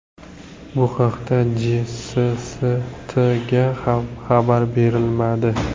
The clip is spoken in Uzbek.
Bu haqda JSSTga ham xabar berilmadi.